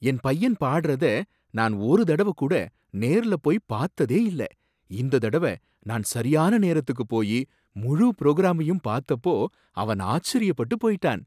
என் பையன் பாடறத நான் ஒருதடவ கூட நேர்ல போய் பத்ததே இல்ல, இந்ததடவ நான் சரியான நேரத்துக்கு போயி முழு புரோகிராமையும் பாத்தப்போ அவன் ஆச்சரியப்பட்டு போயிட்டான்.